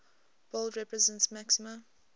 bold represents maxima